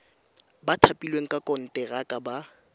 ba thapilweng ka konteraka ba